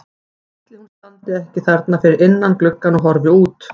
Ætli hún standi ekki þarna fyrir innan gluggann og horfi út?